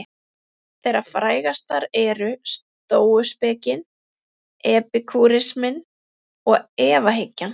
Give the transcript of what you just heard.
Þeirra frægastar eru stóuspekin, epikúrisminn og efahyggjan.